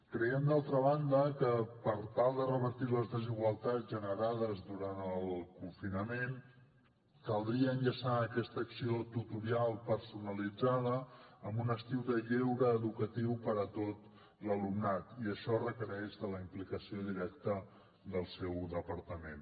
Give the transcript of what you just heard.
creiem d’altra banda que per tal de revertir les desigualtats generades durant el confinament caldria enllaçar aquesta acció tutorial personalitzada amb un estiu de lleure educatiu per a tot l’alumnat i això requereix la implicació directa del seu departament